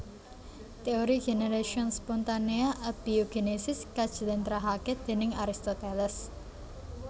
Teori Generatio Spontanea Abiiogenesis kajlentrehake déning Aristoteles